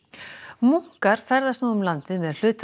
munkar ferðast nú um landið með hluta af